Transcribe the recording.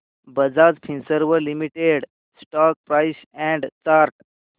Bajaj Finserv limited stock price and chart